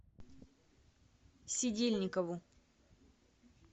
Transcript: сидельникову